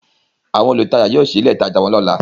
Àwọn olutaja yóò sí ìlé itaja wón lọla.